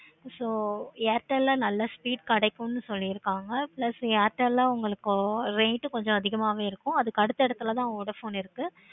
so airtel ல நல்ல speed கிடைக்குமுன்னு சொல்லி இருக்காங்க. plus airtel ல அவங்களுக்கு rate கொஞ்சம் அதிகமாவே இருக்கும். அதுக்கு அடுத்த இடத்துல தான் vodafone இருக்கு.